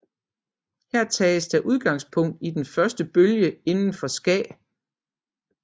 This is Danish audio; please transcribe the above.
Her tages der udgangspunkt i den første bølge inden for ska